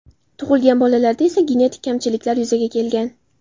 Tug‘ilgan bolalarda esa genetik kamchiliklar yuzaga kelgan.